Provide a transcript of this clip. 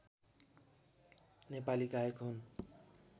नेपाली गायक हुन्